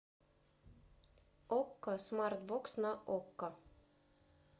окко смарт бокс на окко